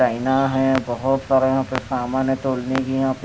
आइना है बहुत सारा यहां पे सामान है तोलने की यहां पे --